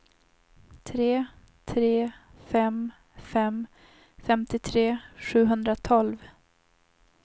tre tre fem fem femtiotre sjuhundratolv